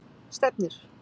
Stefnir